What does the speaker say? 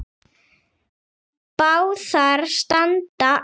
Báðar standa enn.